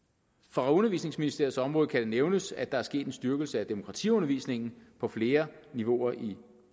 for undervisningsministeriets område kan det nævnes at der er sket en styrkelse af demokratiundervisningen på flere niveauer i